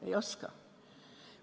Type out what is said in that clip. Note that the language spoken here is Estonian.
Ei oska.